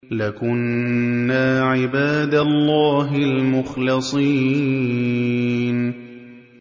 لَكُنَّا عِبَادَ اللَّهِ الْمُخْلَصِينَ